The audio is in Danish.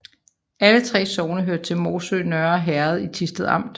Alle 3 sogne hørte til Morsø Nørre Herred i Thisted Amt